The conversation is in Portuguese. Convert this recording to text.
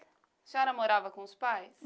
A senhora morava com os pais?